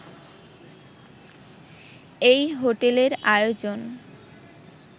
এই হোটেলের আয়োজন